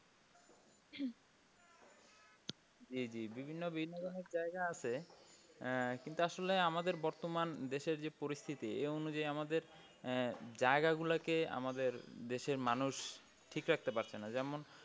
জি জি বিভিন্ন বিনোদনের জায়গা আছে আহ কিন্তু আসলে আমাদের বর্তমান দেশের যে পরিস্থিতি এই অনুযায়ী আমাদের আহ জায়গা গুলা কে আমাদের দেশের মানুষ ঠিক রাখতে পারছে না যেমন